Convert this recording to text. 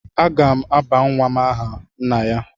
Aga m aba nwa m aha nna ya.